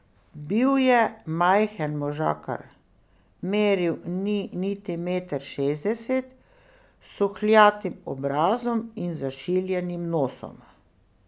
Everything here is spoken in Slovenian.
Bil je majhen možakar, meril ni niti meter šestdeset, s suhljatim obrazom in zašiljenim nosom.